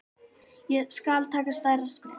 Skal taka stærra skref?